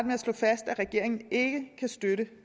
med at slå fast at regeringen ikke kan støtte